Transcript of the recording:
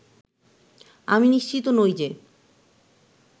আমি নিশ্চিত নই যে